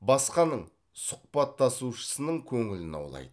басқаның сұхбаттасушысының көңілін аулайды